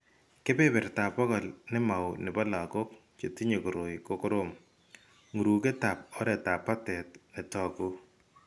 Kebertab bokol ne mao nebo lagok chetinye koroi ko korom , ng'uruketab oretab batet ne toku .